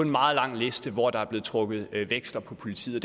meget lang liste hvor der er blevet trukket veksler på politiet